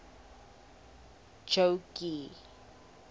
jogee